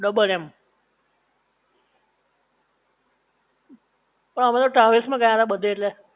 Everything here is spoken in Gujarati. ડબલ એમ પણ અમે તો ટ્રાવેલ્સ માં ગયા તા બધે એટલે